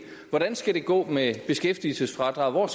hvordan det skal gå med beskæftigelsesfradraget og